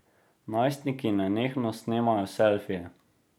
Najstniki nenehno snemajo selfije.